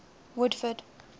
woodford